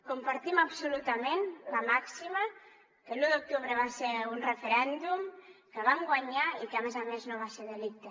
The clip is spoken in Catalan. compartim absolutament la màxima que l’u d’octubre va ser un referèndum que el vam guanyar i que a més a més no va ser delicte